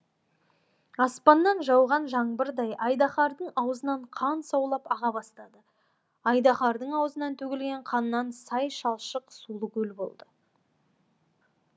аспаннан жауған жаңбырдай айдаһардың аузынан қан саулап аға бастады айдаһардың аузынан төгілген қаннан сай шалшық сулы көл болды